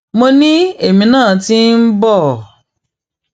mo ní èmi náà ti ń bọ